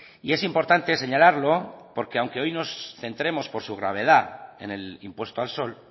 y es importante señalarlo porque aunque hoy nos centremos por su gravedad en el impuesto al sol